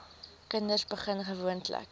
kinders begin gewoonlik